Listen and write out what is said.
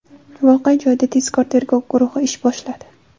Voqea joyida tezkor tergov guruhi ish boshladi.